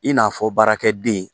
I n'a fɔ baarakɛden